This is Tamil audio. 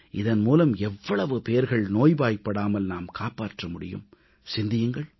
இதன் மூலம் எவ்வளவு பேர்கள் நோய்வாய்ப்படாமல் நாம் காப்பாற்ற முடியும் சிந்தியுங்கள்